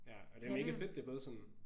Ja og det er mega fedt det er blevet sådan